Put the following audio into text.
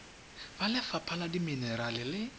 ba lefapha la dimenerale le